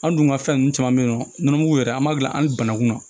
An dun ka fɛn nunnu caman bɛ yen nɔ nɔnɔmugu yɛrɛ an b'a dilan hali banakun na